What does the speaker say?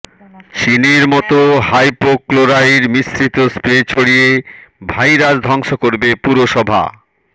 চিনের মতো হাইপোক্লোরাইড মিশ্রিত স্প্রে ছড়িয়ে ভাইরাস ধ্বংস করবে পুরসভা